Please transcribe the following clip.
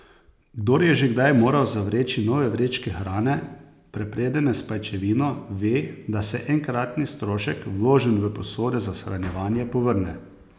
Kdor je že kdaj moral zavreči nove vrečke hrane, prepredene s pajčevino, ve, da se enkratni strošek, vložen v posode za shranjevanje, povrne.